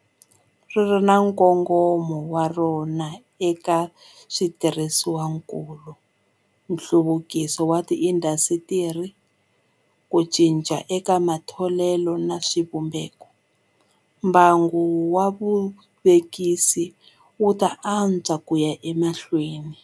- ri ri na nkongomo wa rona eka switirhisiwakulu, nhluvukiso wa tiindasitiri, ku cinca eka matholelo na swivumbeko - mbangu wa vuvekisi wu ta antswa ku ya emahlweni.